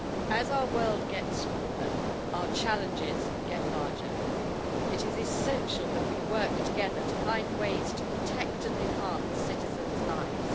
As our world gets smaller, our challenges get larger. It is essential that we work together to find ways to protect and enhance citizens' lives.